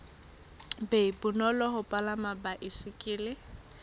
be bonolo ho palama baesekele